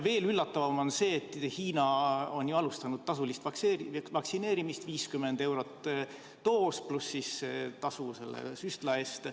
Veel üllatavam on see, et Hiina on alustanud tasulist vaktsineerimist, 50 eurot doos pluss tasu süstla eest.